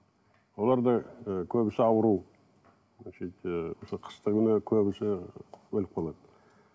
олар да і көбісі ауру қыстыгүні көбісі өліп қалады